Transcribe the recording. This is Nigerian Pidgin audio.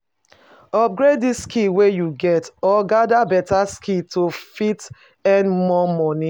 Upgrade di skill wey you get or gather better skill to fit earn more money